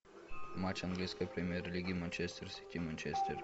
матч английской премьер лиги манчестер сити манчестер